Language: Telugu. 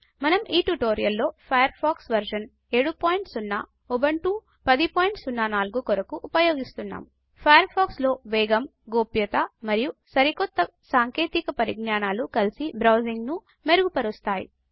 మనం ఈ ట్యుటోరియల్ లో ఫయర్ ఫాక్స్ వెర్షన్ 70 ఉబుంటు 1004 కొరకు ఉపయోగిస్తున్నాము ఫయర్ ఫాక్స్ లో వేగం గోప్యత మరియు సరికొత్త సాంకేతిక పరిజ్ఞానాలు కలిసి బ్రౌజింగ్ని మెరుగు పరుస్తాయి